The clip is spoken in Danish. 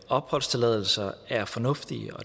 opholdstilladelse er fornuftige